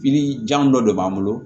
Pipiniyɛri jan dɔ de b'an bolo